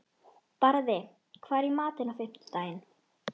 Barði, hvað er í matinn á fimmtudaginn?